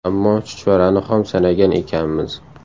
Ammo chuchvarani xom sanagan ekanmiz.